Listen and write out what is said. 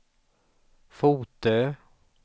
Fotö